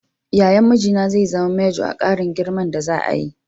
Yayan mijina zai zama manjo a ƙarin girman da za'a yi.